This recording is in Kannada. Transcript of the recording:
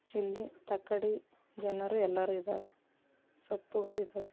ಇಲ್ಲಿ ತಕ್ಕಡಿ ಜನರು ಯಲ್ಲರು ಇದ್ದಾರೆ ಸಪ್ಪುಗಳು ಇದ್ದವೇ.